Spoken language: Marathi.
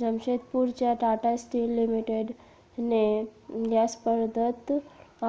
जमशेदपूरच्या टाटा स्टील लिमिटेडने या स्पर्धेत